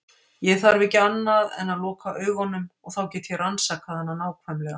Ég þarf ekki annað en að loka augunum og þá get ég rannsakað hana nákvæmlega.